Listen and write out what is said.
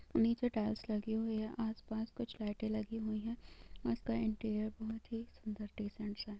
नीचे टाइल्स लगी हुए है| आस-पास कुछ लाइटे लगी हुई है और इसका इन्टीरीअर बोहोत ही सुंदर डिसेंट सा है।